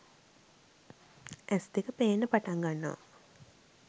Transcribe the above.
ඇස් දෙක පේන්න පටන් ගන්නවා